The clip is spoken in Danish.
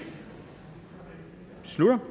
slutter